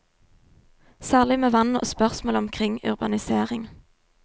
Særlig med vann og spørsmål omkring urbanisering.